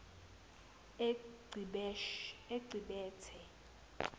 ecibithe